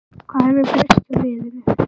Hvað hefur breyst hjá liðinu?